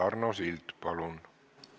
Arno Sild, palun!